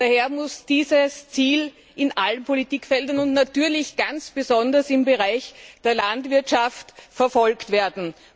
Daher müssen diese Ziele in allen Politikfeldern und natürlich ganz besonders im Bereich der Landwirtschaft verfolgt werden.